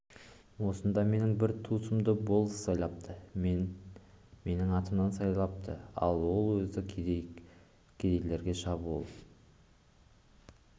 осында менің бір туысымды болыс сайлапты және менің атымнан сайлатыпты ал ол өзі кедей кедейлерге шабуыл